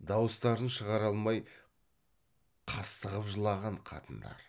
дауыстарын шығара алмай қыстығып жылаған қатындар